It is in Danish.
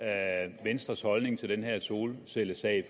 er venstres holdning til den her solcellesag